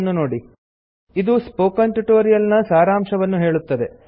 httpspoken tutorialorgWhat is a Spoken Tutorial ಇದು spoken tutorial ನ ಸಾರಾಂಶವನ್ನು ಹೇಳುತ್ತದೆ